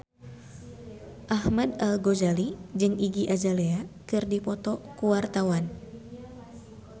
Ahmad Al-Ghazali jeung Iggy Azalea keur dipoto ku wartawan